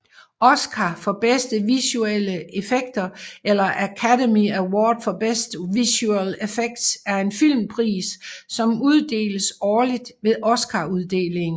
Oscar for bedste visuelle effekter eller Academy Award for Best Visual Effects er en filmpris som uddeles årligt ved Oscaruddelingen